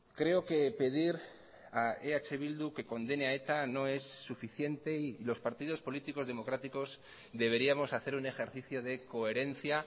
creo que pedir a eh bildu que condene a eta no es suficiente y los partidos políticos democráticos deberíamos hacer un ejercicio de coherencia